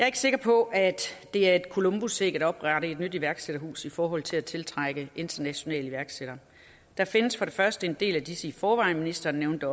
ikke sikker på at det er et columbusæg at oprette et nyt iværksætterhus i forhold til at tiltrække internationale iværksættere der findes for det første en del af disse i forvejen ministeren nævnte